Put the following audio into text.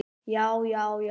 já já já!